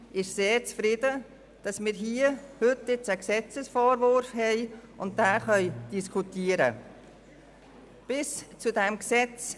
Bis zum Vorliegen dieses Gesetzesentwurfs hat es sehr lange gedauert.